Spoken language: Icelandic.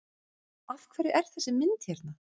Af hverju er þessi mynd hérna?